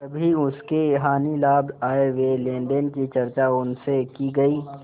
कभी उसके हानिलाभ आयव्यय लेनदेन की चर्चा उनसे की गयी